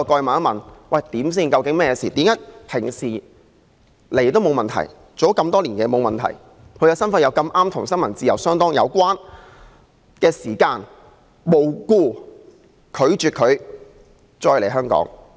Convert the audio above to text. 馬凱在香港工作多年，一向入境也沒有問題，但為何當他的身份碰巧變得與新聞自由相當有關時，他卻無故被拒絕再來香港？